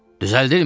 Düzəldirmiyib?